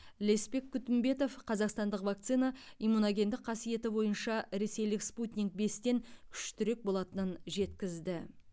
леспек күтімбетов қазақстандық вакцина иммуногендік қасиеті бойынша ресейлік спутник бес тен күштірек болатынын жеткізді